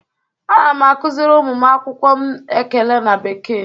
Ana m akụziri ụmụ akwụkwọ m ekele na bekee.